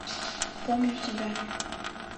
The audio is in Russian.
помню тебя